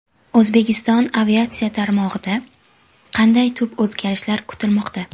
O‘zbekiston aviatsiya tarmog‘ida qanday tub o‘zgarishlar kutilmoqda?.